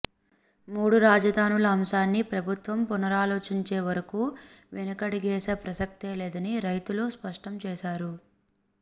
మూడు రాజధానుల అంశాన్ని ప్రభుత్వం పునరాలోచించే వరకు వెనుకడుగేసే ప్రసక్తే లేదని రైతులు స్పష్టం చేశారు